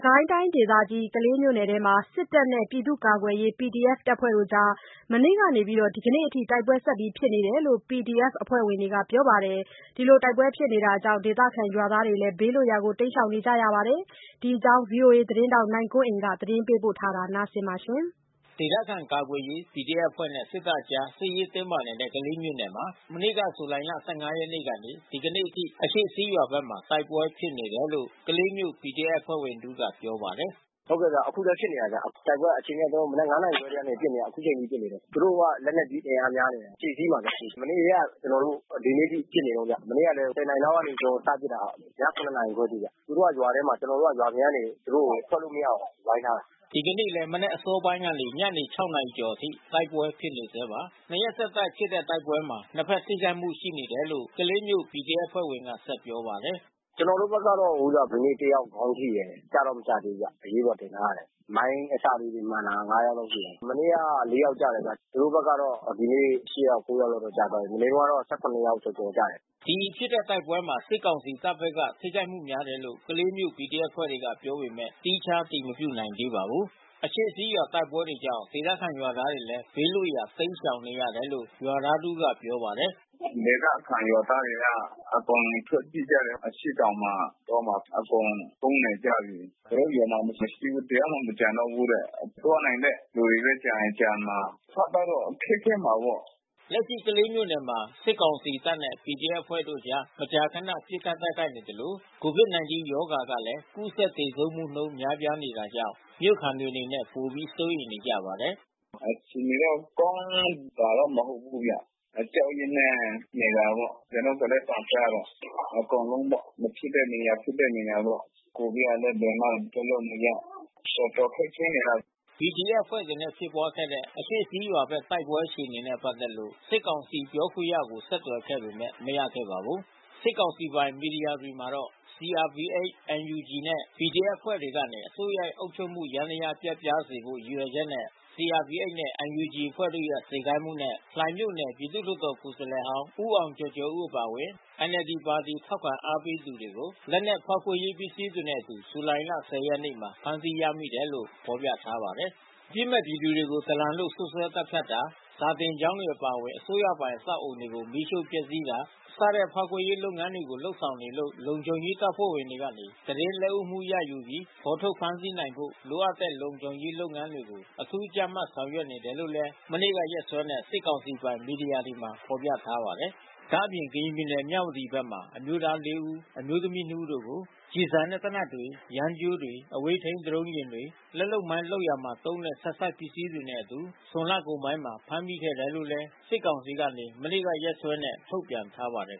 ကိုင်းတိုင်းဒေသကြီး၊ ကလေးမြို့နယ်တွင်းမှာ စစ်တပ်နဲ့ ပြည်သူ့ကာကွယ်ရေး PDF တပ်ဖွဲ့တို့ကြား မနေ့ကနေ ဒီနေ့အထိ တိုက်ပွဲဖြစ်နေတယ်လို့ PDF အဖွဲ့ဝင်တွေကပြောပါတယ်။ တိုက်ပွဲကြောင့် ဒေသခံရွာသားတွေလည်း ဘေးလွတ်ရာ တိမ်းရှောင်နေကြရပါတယ်။ ဒီအကြောင်း ဗွီအိုအေသတင်းထောက် နိုင်ကွန်းအိန်က သတင်းပေးပို့ထားပါတယ်။ ဒေသခံကာကွယ်ရေး PDF အဖွဲ့နဲ့ စစ်တပ်အကြား စစ်ရေးတင်းမာနေတဲ့ ကလေးမြို့နယ်မှာ မနေ့ ဇူလိုင်လ ၁၅ ရက်နေ့ကနေ ဒီကနေ့အထိ အရှေ့စည်းရွာဘက်မှာ တိုက်ပွဲဖြစ်နေတယ်လို့ ကလေးမြို့PDF အဖွဲ့ဝင်တဦးကပြောပါတယ်။ "ဟုတ်ကဲ့ဗျ။ အခုလည်းဖြစ်နေတာဗျ။ တိုက်ပွဲကတော့ အချိန်နည်းစော မနက် ၅ နာရီခွဲကနေဖြစ်နေတာ အခုချိန်ထိဖြစ်နေတာ။ သူတို့က လက်နက်ကြီးအင်အားများတယ်ဗျ။ အရှေ့စည်းမှာဗျ။ မနေ့ကတည်းက ဒီနေ့အထိ ကျနော်တို့ပစ်နေတုန်းပဲ။ မနေ့ကလည်း ၁၀ နာရီလောက်က စပြီးတော့ပစ်တယ်ဗျ။ ည ၇ နာရီခွဲအထိဗျ။ သူတို့ကရွာထဲမှာ ကျနော်တို့က ရွာအပြင်ကနေ သူတို့ထွက်လို့မရအောင်ဝိုင်းထားတာ။" ဒီကနေ့လည်း မနက်အစောပိုင်းကနေ ညနေ ၆ နာရီကျော်အထိ တိုက်ပွဲဖြစ်နေဆဲပါ။ နှစ်ရက်ဆက်တိုက်ဖြစ်တဲ့ တိုက်ပွဲမှာ နှစ်ဘက် ထိခိုက်မှုရှိတယ်လို့ ကလေးမြို့PDFအဖွဲ့ဝင်ကဆက်ပြောပါတယ်။ "ကျနော်တို့ဘက်ကတော့ ဒီနေ့တယောက်ခေါင်းထိတယ်။ ကျတော့ မကျသေးဘူးဗျ၊ အရေးပေါ်တင်ထားရတယ်။ မိုင်းအစလေးတွေမှန်တာ ၅ ယောက်လောက်ရှိတယ်။ မနေ့က ၄ ယောက်ကျတယ်ဗျ။ သူတို့ဘက်ကတော့ ဒီနေ့ ၈ ယောက် ၉ ယောက်လောက်တော့ကျတယ်။ မနေ့တုန်းကတော့ ၁၇ ယောက်ကျော်ကျော်ကျတယ်။" ဒီလိုဖြစ်တဲ့တိုက်ပွဲမှာ စစ်ကောင်စီတပ်ဘက်က ထိခိုက်မှုများတယ်လို့ ကလေးမြို့PDF အဖွဲ့တွေကပြောပေမဲ့ သီးခြား အတည်မပြုနိုင်ပါဘူး။ အရှေ့စည်းရွာဘက်တိုက်ပွဲကြောင့် ဒေသခံရွာသားတွေလည်း ဘေးလွတ်ရာ ရှောင်တိမ်းနေရတယ်လို့ ရွာသားတဦးက ပြောပါတယ်။ "ဒေသခံရွာသားတွေက အကုန်ထွက်ပြေးကြတယ်။ အရှေ့တောင်မှာ တောမှာအကုန်ပုန်းနေကြပြီ။ ကျနော်တို့ရွာမှာမရှိဘူး။ တယောက်မှမကျန်တော့ဘူး။ မသွားနိုင်တဲ့လူတွေပဲ ကျန်ရင်ကျန်မှာ။ အစားသောက်တော့ခက်ခဲမှာပေါ့။" လက်ရှိ ကလေးမြို့နယ်မှာ စစ်ကောင်စီတပ်နဲ့ PDF အဖွဲ့တို့ မကြာခန ပစ်ခတ်တိုက်ခိုက်နေသလို ကိုဗစ် ၁၉ ရောဂါကလည်း ကူးစက်သေဆုံးနှုန်းလည်း များနေတာကြောင့် မြို့ခံတွေအနေနဲ့ ပိုပြီး စိုးရိမ်နေကြပါတယ်။ "အခြေအနေတော့ ကောင်းတာမဟုတ်ဘူးဗျ။ အကြောက်အရွံ့နဲ့နေတာပေါ့။ ကျနော်တို့ သေနတ်သံကြားတယ်။ အကုန်လုံးပေါ့ မဖြစ်တဲ့နေရာ ဖြစ်တဲ့နေရာပေါ့။ ကိုဗစ်ကလည်း ဘယ်မှထွက်လို့မရ တော်တော်ခက်ခဲနေတာ။" PDF အဖွဲ့တွေနဲ့ဖြစ်ပွါးခဲ့တဲ့ အရှေ့စည်းရွာဘက် တိုက်ပွဲအခြေအနေနဲ့ပတ်သက်ပြီးမေးဖို့ စစ်ကောင်စီပြောခွင့်ရကိုဆက်သွယ်ခဲ့ပေမဲ့ မရခဲ့ပါဘူး။ စစ်ကောင်စီပိုင် မီဒီယာတွေမှာတော့ CRPH ၊ NUG နှင့် PDF အဖွဲ့တွေကနေ အစိုးရအုပ်ချုပ်မှုယန္တရား ပျက်ပြားစေဖို့ ရည်ရွယ်ချက်နဲ့ CRPH နဲ့ NUG အဖွဲ့တို့ရဲ့စေခိုင်းမှုနဲ့ လှိုင်မြို့နယ် ပြည်သူ့လွှတ်တော်ကိုယ်စားလှယ်ဟောင်း ဦးအောင်ကျော်ကျော်ဦး အပါအဝင် NLD ပါတီ ထောက်ခံအားပေးသူတွေကို လက်နက်၊ ဖောက်ခွဲရေးပစ္စည်းတွေနဲ့အတူ ဇူလိုင်လ ၁၀ ရက်နေ့မှာ ဖမ်းဆီးရမိတယ်လို့ ဖော်ပြထားပါတယ်။ အပြစ်မဲ့ပြည်သူတွေကို ဒလန်လို့ စွပ်စွဲသတ်ဖြတ်တာ၊ စာသင်ကျောင်းတွေအပါအဝင် အစိုးရပိုင် အဆောက်အဦးတွေကို မီးရှို့ ဖျက်ဆီးတာ စတဲ့ ဖောက်ခွဲရေးလုပ်ငန်းတွေကို လုပ်ဆောင်နေလို့ လုံခြုံရေးတပ်ဖွဲ့ဝင်တွေကနေ သတင်းလက်ဦးမှုရယူပြီး ဖော်ထုတ် ဖမ်းဆီးနိုင်ဖို့ လိုအပ်တဲ့လုံခြုံရေးလုပ်ငန်းတွေကို အထူးကြပ်မတ်ဆောင်ရွက်နေတယ်လို့လည်း မနေ့ကရက်စွဲနဲ့ စစ်ကောင်စီပိုင် မီဒီယာတွေမှာ ဖော်ပြထားပါတယ်။ ဒါ့အပြင် ကရင်ပြည်နယ်၊ မြဝတီဘက်မှာ အမျိုးသားလေးဦး၊ အမျိုးသမီးနှစ်ဦးတို့ကို သေနတ်နဲ့ကျည်ဆံတွေ၊ ယန်းကြိုးတွေ၊ အဝေးထိန်းဒရုံးယာဉ်တွေ၊ လက်လုပ်မိုင်းလုပ်ရာမှာသုံးတဲ့ ဆက်စပ်ပစ္စည်းတွေနဲ့အတူ ဇွန်လကုန်ပိုင်းက ဖမ်းမိခဲ့တယ်လို့လည်း စစ်ကောင်စီက မနေ့ကရက်စွဲနဲ့ ထုတ်ပြန်ထားပါတယ်